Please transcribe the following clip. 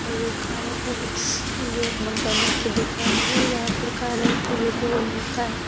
और ये कार एक मकेनिक की दुकान है। यहाँ पर कार ओर रिपेयरिंग होता है।